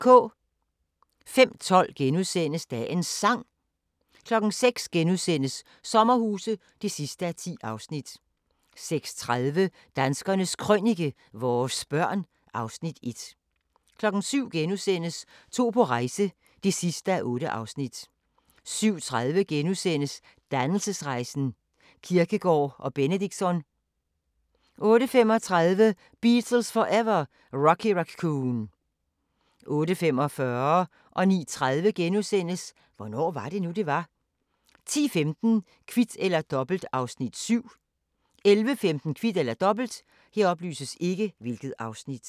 05:12: Dagens Sang * 06:00: Sommerhuse (10:10)* 06:30: Danskernes Krønike - vores børn (Afs. 1) 07:00: To på rejse (8:8)* 07:30: Dannelsesrejsen – Kierkegaard og Benedictsson * 08:35: Beatles Forever: Rocky Raccoon 08:45: Hvornår var det nu, det var? * 09:30: Hvornår var det nu, det var? 10:15: Kvit eller Dobbelt (Afs. 7) 11:15: Kvit eller Dobbelt